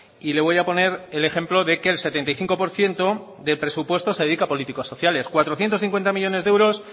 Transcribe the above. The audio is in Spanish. y le voy a poner el ejemplo de que el setenta y cinco por ciento del presupuesto se dedica a político sociales cuatrocientos cincuenta millónes de euros